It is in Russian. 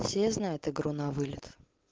все знает игру на вылет